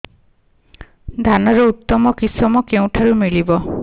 ଧାନର ଉତ୍ତମ କିଶମ କେଉଁଠାରୁ ମିଳିବ